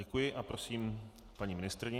Děkuji a prosím paní ministryni.